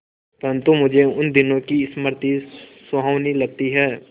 परंतु मुझे उन दिनों की स्मृति सुहावनी लगती है